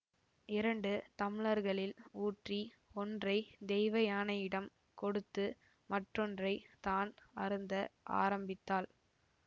இரண்டு தம்ளர்களில் ஊற்றி ஒன்றை தெய்வயானையிடம் கொடுத்து மற்றொன்றைத் தான் அருந்த ஆரம்பித்தாள்